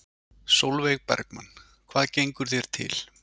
Sólveig Bergmann: Hvað gengur þér til?